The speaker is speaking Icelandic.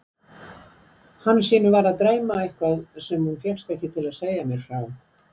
Hansínu var að dreyma eitthvað sem hún fékkst ekki til að segja mér frá.